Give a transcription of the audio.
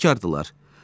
İnadkardırlar.